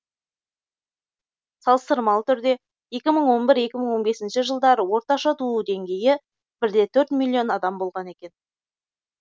салыстырмалы түрде екі мың он бір екі мың он бесінші жылдары орташа туу деңгейі бір де төрт миллион адам болған екен